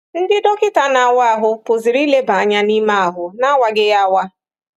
Ndị dọkịta na-awa ahụ pụziri ileba anya n’ime ahụ n’awaghị ya awa.